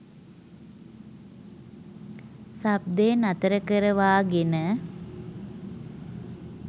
ශබ්දය නතර කරවාගෙන